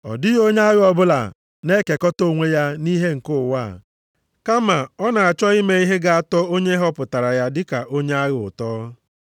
Ọ dịghị onye agha ọbụla na-ekekọta onwe ya nʼihe nke ụwa a, kama ọ na-achọ ime ihe ga-atọ onye họpụtara ya dị ka onye agha ụtọ.